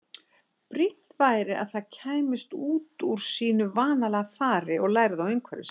Brýnt væri að það kæmist út úr sínu vanalega fari og lærði á umhverfi sitt.